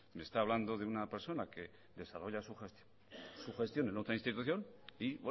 me está hablando de una persona que desarrolla su gestión en otra institución y